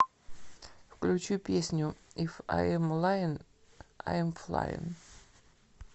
включи песню иф айм лаин айм флаин